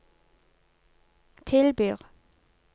tilbyr